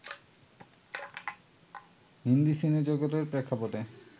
হিন্দি সিনেজগতের প্রেক্ষাপটে